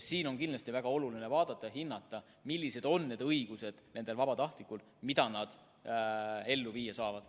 Siin on kindlasti väga oluline vaadata ja hinnata, millised on nende vabatahtlike õigused, mida nad ellu viia saavad.